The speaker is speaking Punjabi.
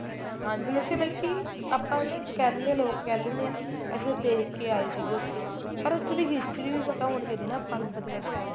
ਹਾਂਜੀ ਉੱਥੇ ਮਤਲਬ ਕੀ ਆਪਾਂ ਨਾ ਕਹਿੰਦੇ ਲੋਕ ਕਹਿ ਦਿੰਨੇ ਏ ਅਸੀਂ ਤਾਂ ਦੇਖ ਕੇ ਆਏ ਸੀਗੇ ਉੱਥੇ ਪਰ ਉੱਥੇ ਦੀ history ਵੀ ਪਤਾ ਹੋਣੀ ਚਾਹੀਦੀ ਏ ਆਪਾਂ ਨੂੰ ਫਤਿਹਗੜ੍ਹ ਸਾਹਿਬ ਦੀ